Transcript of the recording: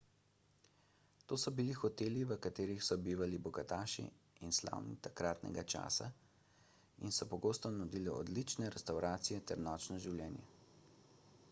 to so bili hoteli v katerih so bivali bogataši in slavni takratnega časa in so pogosto nudili odlične restavracije ter nočno življenje